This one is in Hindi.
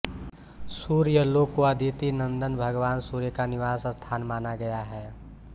सूर्यलोक को अदिति नन्दन भगवान सूर्य का निवास स्थान माना गया है